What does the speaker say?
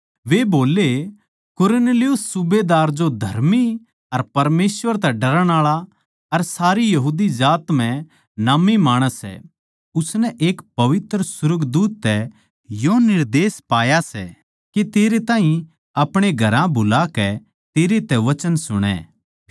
वे बोल्ले कुरनेलियुस सूबेदार जो धर्मी अर परमेसवर तै डरणआळा अर सारी यहूदी जात म्ह नाम्मी माणस सै उसनै एक पवित्र सुर्गदूत तै यो निर्देश पाया सै के तेरै ताहीं अपणे घरां बुलाकै तेरै तै वचन सुणै